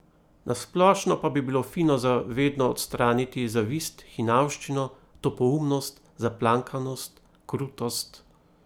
Na splošno pa bilo fino za vedno odstraniti zavist, hinavščino, topoumnost, zaplankanost, krutost ...